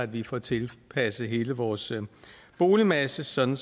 vi får tilpasset hele vores boligmasse sådan